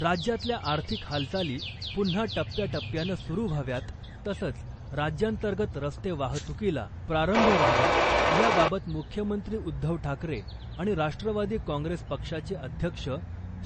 राज्यातल्या आर्थिक हालचाली पुन्हा टप्याटप्प्यानं सुरू व्हाव्यात , तसंच राज्यांतर्गत रस्ते वाहतुकीला प्रारंभ व्हावा या बाबत मुख्यमंत्री उद्धव ठाकरे आणि राष्ट्रवादी काँग्रेस पक्षाचे अध्यक्ष